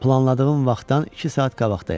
Planladığım vaxtdan iki saat qabaqdayam.